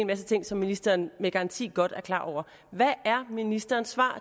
masse ting som ministeren med garanti godt er klar over hvad er ministerens svar